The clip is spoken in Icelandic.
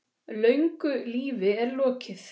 Löngu lífi er lokið.